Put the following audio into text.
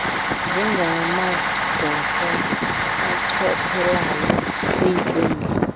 njengamagosa achophelayo kwiinkundla